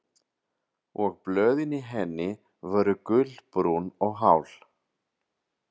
Og blöðin í henni voru gulbrún og hál.